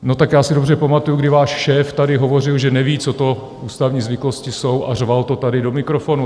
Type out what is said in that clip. No tak já si dobře pamatuju, kdy váš šéf tady hovořil, že neví, co to ústavní zvyklosti jsou, a řval to tady do mikrofonu.